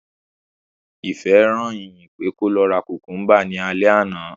Ìfẹ́ rán Ìyìn pé kó lọ ra kùmkúmbà ní alẹ́ àná